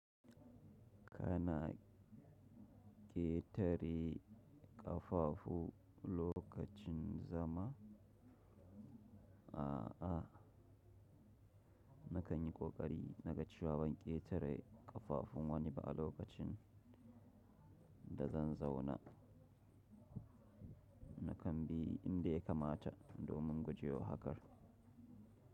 Kana ƙetare ƙafafu lokacin zama? A'a, na kan yi ƙoƙari na gacewar ban ƙetare ƙafafun wani ba a lokacin da zan zauna. Na kan bi inda ya kamata domin guje wa hakar.